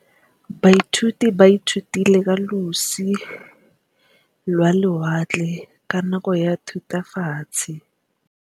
Baithuti ba ithutile ka losi lwa lewatle ka nako ya Thutafatshe.